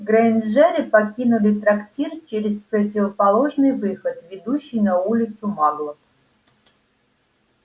грэйнджеры покинули трактир через противоположный выход ведущий на улицу маглов